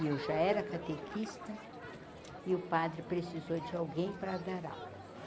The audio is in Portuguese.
E eu já era catequista, e o padre precisou de alguém para dar aula.